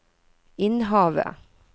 Innhavet